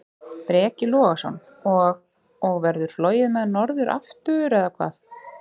Breki Logason: Og, og verður flogið með hann norður aftur, eða hvað?